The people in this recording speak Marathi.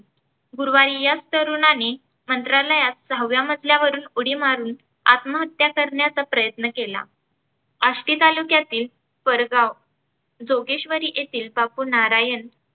गुरुवारी याच तरुणाने मंत्रालयात सहाव्या मजल्यावरुन उडी मारून आत्महत्या करण्याचा प्रयन्त केला. अष्टी तालुक्यातील परगाव जोगेश्वरी येथील बापूनारायण